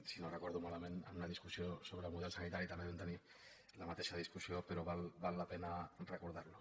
si no ho recordo malament en una discussió sobre model sanitari també vam tenir la mateixa discussió però val la pena recordar ho